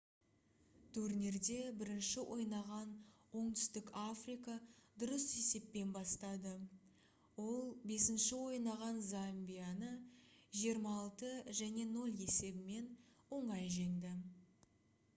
турнирде бірінші ойнаған оңтүстік африка дұрыс есеппен бастады ол 5-ші ойнаған замбияны 26 - 00 есебімен оңай жеңді